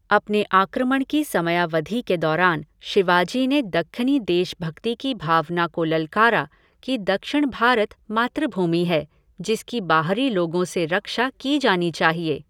अपने आक्रमण की समयावधि के दौरान शिवाजी ने दक्खनी देशभक्ति की भावना को ललकारा कि दक्षिण भारत मातृभूमि है जिसकी बाहरी लोगों से रक्षा की जानी चाहिए।